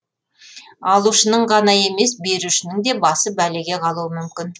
алушының ғана емес берушінің де басы бәлеге қалуы мүмкін